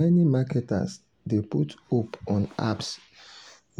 many marketers dey put hope on apps um